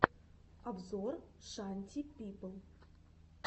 обзор шанти пипл